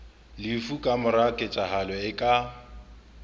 lefu kamora ketsahalo e ka